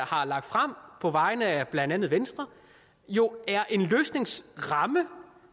har lagt frem på vegne af blandt andet venstre jo er en løsningsramme